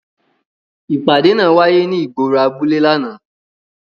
Ipade naa waye ni igboro abule làná.